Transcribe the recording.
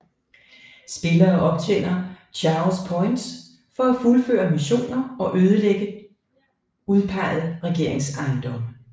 Spillere optjener Chaos Points for at fuldføre missioner og ødelægge udpeget regeringsejendomme